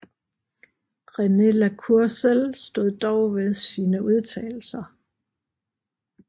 René La Cour Sell stod dog ved sine udtalelser